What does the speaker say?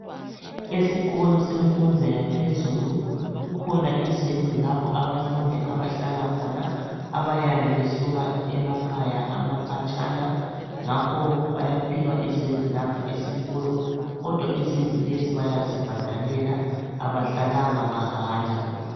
Esikolo semfundo yaphezulu kukhona izindlu lapho abafundi abahlala khona. Abayabe besuka emakhaya amakhatshana, ngakho bayaphiwa izindlu lapha esikolo, kodwa izindlu lezi bayazibhadalela abahlalanga mahala.